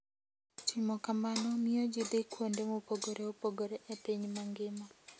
Timo kamano miyo ji dhi kuonde mopogore opogore e piny mangima.